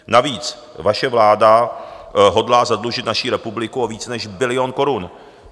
Navíc vaše vláda hodlá zadlužit naší republiku o více než bilion korun.